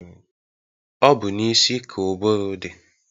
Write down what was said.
Ọ bụ n'isi ka ụbụrụ dị.